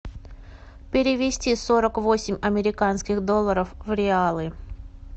перевести сорок восемь американских долларов в реалы